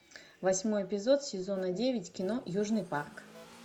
восьмой эпизод сезона девять кино южный парк